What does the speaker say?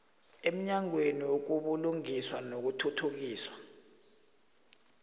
emnyangweni wobulungiswa nokuthuthukiswa